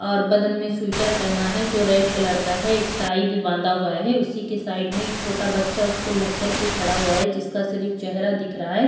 और बदन में सुइटर पहना है जो रेड कलर का है एक टाई भी बांधा हुआ है। उसी के साइड में एक छोटा बच्चा उसको लगकर के खड़ा हुआ है जिसका सिरीफ़ चेहरा दिख रहा है।